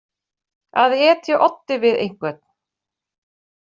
Að etja oddi við einhvern